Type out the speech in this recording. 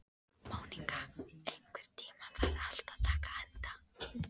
Móníka, einhvern tímann þarf allt að taka enda.